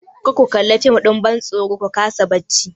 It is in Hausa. Kar ku kalla fim ɗin bantsoro ku kasa bacci!